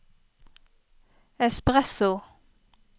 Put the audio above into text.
espresso